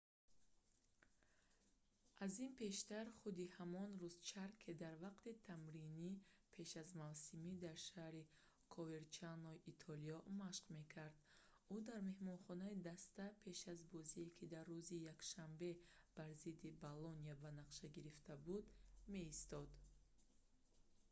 аз ин пештар худи ҳамон рӯз ҷарке дар вақти тамрини пеш аз мавсимӣ дар шаҳри коверчанои итолиё машқ мекард ӯ дар меҳмонхонаи даста пеш аз бозие ки дар рӯзи якшанбе бар зидди болония ба нақша гирифта буд меистод